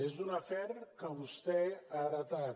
és un afer que vostè ha heretat